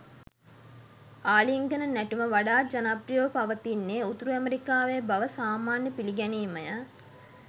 ආලිංගන නැටුම වඩාත් ජනප්‍රියව පවතින්නේ උතුරු ඇමෙරිකාවේ බව සාමාන්‍ය පිළිගැනීමය.